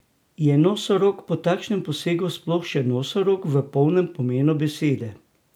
Je nosorog po takšnem posegu sploh še nosorog v polnem pomenu besede?